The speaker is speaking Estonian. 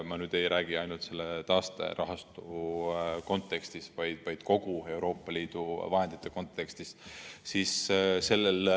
Ma nüüd ei räägi ainult selle taasterahastu kontekstis, vaid kogu Euroopa Liidu vahendite kontekstis.